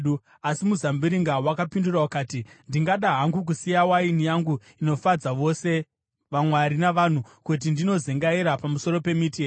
“Asi muzambiringa wakapindura ukati, ‘Ndingada hangu kusiya waini yangu inofadza vose vamwari navanhu, kuti ndinozengaira pamusoro pemiti here?’